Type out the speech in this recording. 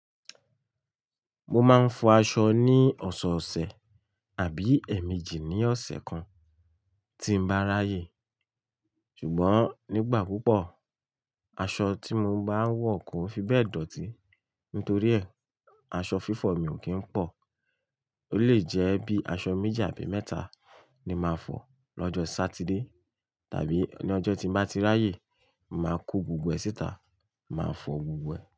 Mo máa ń fọ aṣọ ní ọ̀sọ̀ọ̀sẹ̀ àbí ẹ̀míjí ní ọ̀sẹ̀ kan tí ń bá ráyè. Ṣùgbọ́n nígbà púpọ̀, aṣọ tí mo bá ń wọ̀ kò fi bẹ́ẹ̀ dòtí. Nítorí ẹ́, aṣọ fífọ̀ mi ò kí ń pọ̀. Ó lè jẹ́ bí aṣọ méjì àbí mẹ́ta ni màá fọ̀ lọ́jọ́ Sátidé tàbí ní ọjọ́ tí bá ti ráyè, màá kó gbogbo ẹ̀ síta, màá fọ gbogbo ẹ̀.